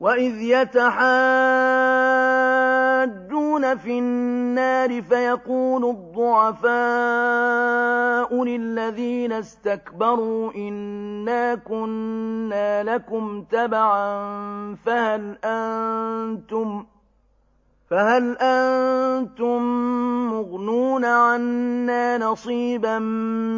وَإِذْ يَتَحَاجُّونَ فِي النَّارِ فَيَقُولُ الضُّعَفَاءُ لِلَّذِينَ اسْتَكْبَرُوا إِنَّا كُنَّا لَكُمْ تَبَعًا فَهَلْ أَنتُم مُّغْنُونَ عَنَّا نَصِيبًا